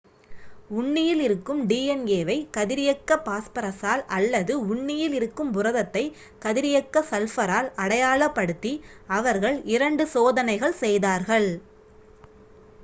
உண்ணியில் இருக்கும் டிஎன்ஏ வை கதிரியக்க பாஸ்பரசால் அல்லது உண்ணியில் இருக்கும் புரதத்தை கதிரியக்க சல்பரால் அடையாளப் படுத்தி அவர்கள் இரண்டு 2 சோதனைகள் செய்தார்கள்